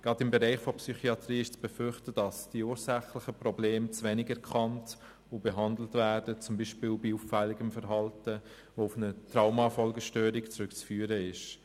Gerade im Bereich der Psychiatrie ist zu befürchten, dass die ursächlichen Probleme zu wenig erkannt und behandelt werden, zum Beispiel bei auffälligem Verhalten, das auf eine Traumafolgestörung zurückzuführen ist.